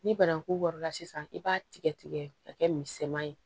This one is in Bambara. Ni banaku wari la sisan i b'a tigɛ tigɛ ka kɛ misɛnman ye